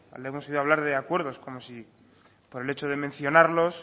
le hemos oído hablar de acuerdos como si por el hecho de mencionarlos